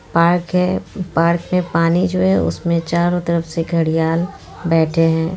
Park है park में पानी जो है उसमें चारों तरफ से घड़ियाल बैठे हैं।